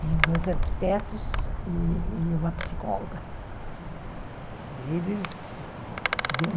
Tem dois arquitetos e e uma psicóloga.